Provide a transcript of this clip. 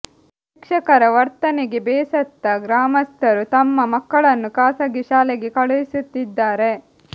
ಶಿಕ್ಷಕರ ವರ್ತನೆಗೆ ಬೇಸತ್ತ ಗ್ರಾಮಸ್ತರು ತಮ್ಮ ಮಕ್ಕಳನ್ನು ಖಾಸಗಿ ಶಾಲೆಗೆ ಕಳುಹಿಸುತ್ತಿದ್ದಾರೆ